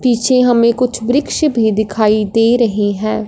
पीछे हमें कुछ वृक्ष भी दिखाई दे रही है।